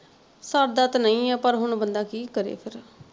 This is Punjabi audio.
ਸਰਦਾ ਤੇ ਨਹੀਂ ਆ ਪਰ ਹੁਣ ਬੰਦਾ ਕੀ ਕਰੇ ਫਿਰ।